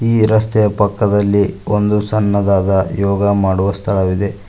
ಈ ರಸ್ತೆಯ ಪಕ್ಕದಲ್ಲಿ ಒಂದು ಸಣ್ಣದಾದ ಯೋಗಾ ಮಾಡುವ ಸ್ಥಳವಿದೆ.